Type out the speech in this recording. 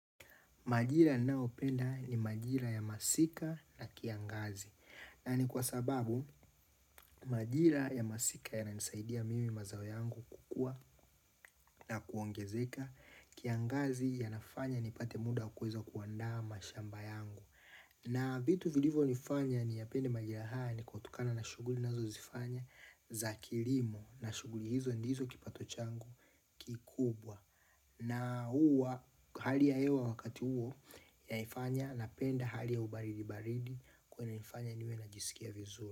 Majira ninayopenda ni majira ya masika na kiangazi, na ni kwa sababu majira ya masika yananisaidia mimi mazao yangu kukua na kuongezeka. Kiangazi yanafanya nipate muda wa kuweza kuandaa mashamba yangu. Na vitu vilivo nifanya niyapende majira haya ni kutokana na shughuli ninazo zifanya za kilimo na shughuli hizo ndizo kipato changu kikubwa. Na huwa hali ya hewa wakati huo inanifanya napenda hali ya ubaridi baridi. Kwa hiyo inanifanya niwe najisikia vizuri.